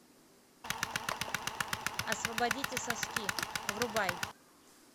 освободите соски врубай